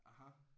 Aha